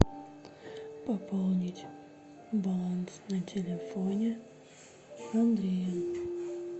пополнить баланс на телефоне андрея